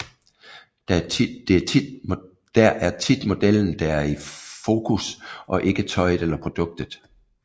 Der er tit modellen der er i fokus og ikke tøjet eller produktet